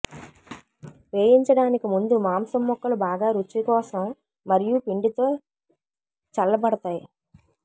వేయించడానికి ముందు మాంసం ముక్కలు బాగా రుచికోసం మరియు పిండితో చల్లబడతాయి